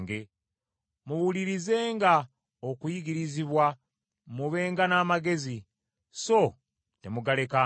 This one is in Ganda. Muwulirizenga okuyigirizibwa, mubenga n’amagezi, so temugalekanga.